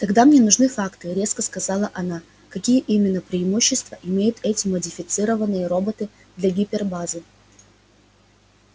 тогда мне нужны факты резко сказала она какие именно преимущества имеют эти модифицированные роботы для гипербазы